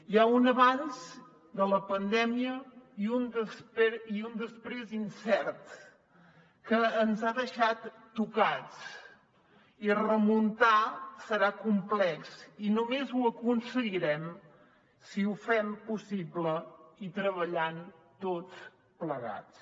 hi ha un abans de la pandèmia i un després incert que ens ha deixat tocats i remuntar serà complex i només ho aconseguirem si ho fem possible i treballant tots plegats